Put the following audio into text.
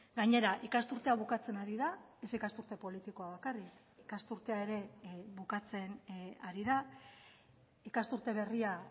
gainera ikasturtea bukatzen ari da ez ikasturte politikoa bakarrik ikasturtea ere bukatzen ari da ikasturte berria